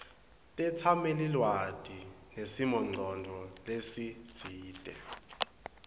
tetsamelilwati nesimongcondvo lesitsite